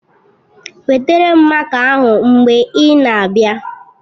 Wetara m máká ahụ mgbe ị na-abịa